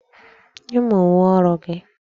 Nye m uwe ọrụ gị!